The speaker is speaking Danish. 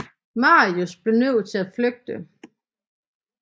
Marius blev nødt til at flygte